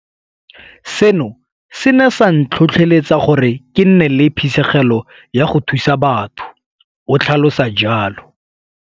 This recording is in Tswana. Seno se ne sa ntlhotlheletsa gore ke nne le phisegelo ya go thusa batho, o tlhalosa jalo.